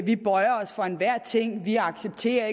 vi bøjer os for enhver ting vi accepterer